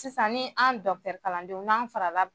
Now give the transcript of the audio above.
Sisan ni an dɔgɔtɔrɔ kalandenw n'an farala